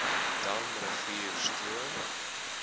dam rivier stroom